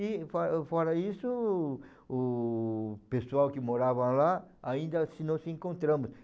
E fo fora isso, o pessoal que morava lá, ainda assim não se encontramos.